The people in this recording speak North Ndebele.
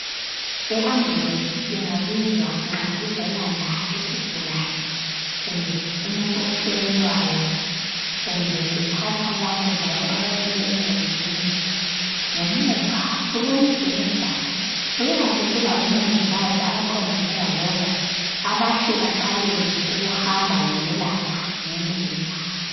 I ambulance ingabizwa izolanda isigulane kumbe umuntu ohelelwayo, kumbe ithatha labo abawele engozini. Ngemuva kulombheda kuyabe kulabomongikazi abaqondane lalokhu bahle baqalele ukuhamba beyelapha ngendlela.